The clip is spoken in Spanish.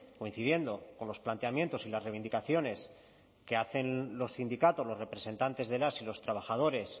coincidiendo con los planteamientos y las reivindicaciones que hacen los sindicatos los representantes de las y los trabajadores